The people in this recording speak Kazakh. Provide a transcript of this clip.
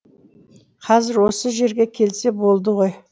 қазір осы жерге келсе болды ғой